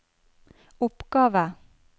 oppgave